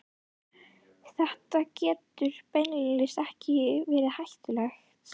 Þetta getur beinlínis verið hættulegt, sagði